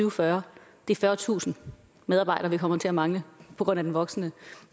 og fyrre det er fyrretusind medarbejdere vi kommer til at mangle på grund af den voksende